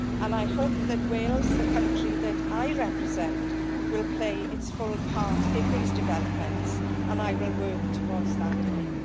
I hope that Wales, the country that I represent, will play its full part in these developments, and I will work towards that aim.